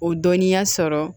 O dɔnniya sɔrɔ